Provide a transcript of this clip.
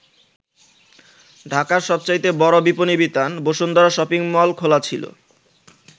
ঢাকার সবচাইতে বড় বিপনী বিতান বসুন্ধরা শপিং মল খোলা ছিল।